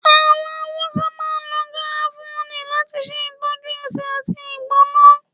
Awọn Hausa máà ń lọ garafuni lati ṣe itọjú ẹsé ati igbona.